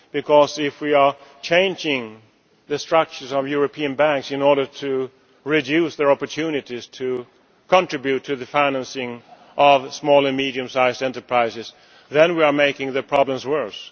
Because if we are changing the structures of European banks in order to reduce their opportunities to contribute to the financing of small and medium sized enterprises, then we are making the problems worse.